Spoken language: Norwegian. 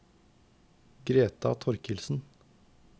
Greta Torkildsen